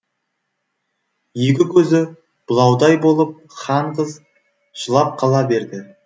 екі көзі бұлаудай болып хан қыз жылап қала берді